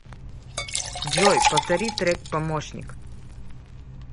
джой повтори трек помощник